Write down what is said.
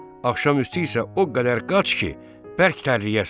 Axşamüstü isə o qədər qaç ki, bərk tərləyəsən.